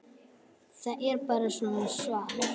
Það er bara svo svalt.